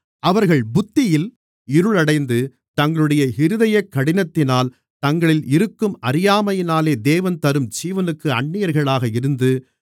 அவர்கள் புத்தியில் இருள் அடைந்து தங்களுடைய இருதயக் கடினத்தினால் தங்களில் இருக்கும் அறியாமையினாலே தேவன் தரும் ஜீவனுக்கு அந்நியர்களாக இருந்து